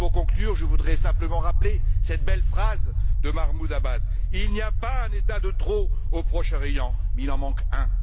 Pour conclure, je voudrais simplement rappeler cette belle phrase de Mahmoud Abbas Il n'y a pas un État de trop au Proche Orient, mais il en manque un.